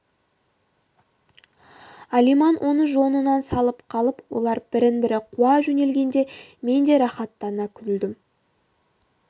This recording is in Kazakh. алиман оны жонынан салып қалып олар бірін-бірі қуа жөнелгенде мен де рақаттана күлдім